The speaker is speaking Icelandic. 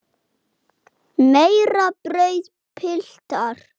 Meira brauð, piltar?